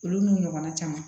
Olu n'u ɲɔgɔnna caman